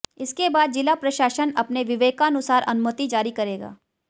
इसके बाद जिला प्रशासन अपने विवेकानुसार अनुमति जारी करेगा